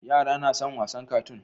Yara nason wassn katoon